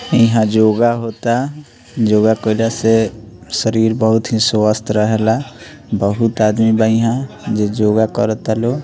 इहाँ जोगा होता जोगा कइला से शरीर बहुत ही स्वस्थ रहेला बहुत आदमी बा इहाँ जे जोगा करता लोग।